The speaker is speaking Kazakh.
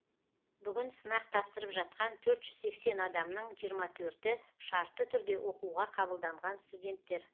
бүгін сынақ тапсырып жатқан төрт жүз сексен адамның жиырма төрті шартты түрде оқуға қабылданған студенттер